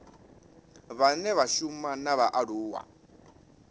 vhane vha shuma na vhaaluwa